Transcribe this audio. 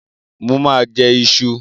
Mo ma jẹ́ ìṣù